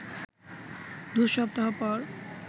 দু সপ্তাহ পর